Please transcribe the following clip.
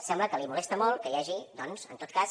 sembla que li molesta molt que hi hagi doncs en tot cas